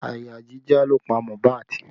Àyà jíjá ló pa Mohbad